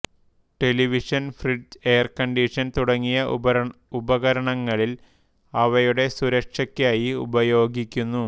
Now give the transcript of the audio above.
television fridge air conditioner തുടങ്ങിയ ഉപകരണങ്ങളിൽ അവയുടെ സുരക്ഷക്കായി ഉപയോഗിക്കുന്നു